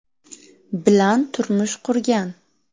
bilan turmush qurgan.